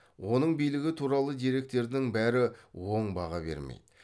оның билігі туралы деректердің бәрі оң баға бермейді